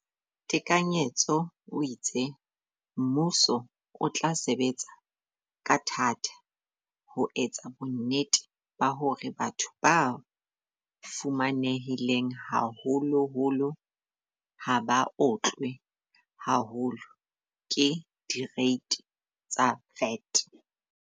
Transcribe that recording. Tekanyetso o itse, mmuso o tla sebetsa ka thata ho etsa bonnete ba hore batho ba fumanehileng haholoholo ha ba otlwe haholo ke direiti tsa VAT.